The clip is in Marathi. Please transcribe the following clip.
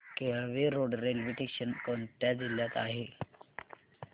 केळवे रोड रेल्वे स्टेशन कोणत्या जिल्ह्यात आहे